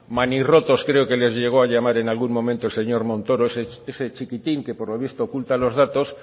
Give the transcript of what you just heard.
manirrotos creo que les llegó a llamar en algún momento el señor montoro ese chiquitín que por lo visto oculta los datos